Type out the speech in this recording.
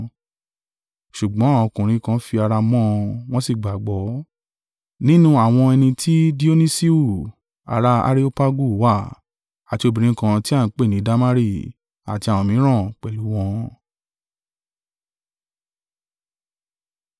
Ṣùgbọ́n àwọn ọkùnrin kan fi ara mọ́ ọn, wọ́n sì gbàgbọ́: nínú àwọn ẹni tí Dionisiu ara Areopagu wà, àti obìnrin kan tí a ń pè ni Damari àti àwọn mìíràn pẹ̀lú wọn.